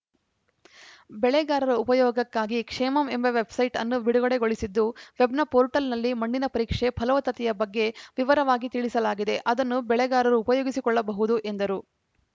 ಬೆಳೆಗಾರರ ಉಪಯೋಗಕ್ಕಾಗಿ ಕ್ಷೇಮಮ್‌ ಎಂಬ ವೆಬ್‌ಸೈಟ್‌ ಅನ್ನು ಬಿಡುಗಡೆಗೊಳಿಸಿದ್ದು ವೆಬ್‌ನ ಪೋರ್ಟಲ್‌ನಲ್ಲಿ ಮಣ್ಣಿನ ಪರೀಕ್ಷೆ ಫಲವತ್ತತೆಯ ಬಗ್ಗೆ ವಿವರಾಗಿ ತಿಳಿಸಲಾಗಿದೆ ಅದನ್ನು ಬೆಳೆಗಾರರು ಉಪಯೋಗಿಸಿಕೊಳ್ಳಬಹುದು ಎಂದರು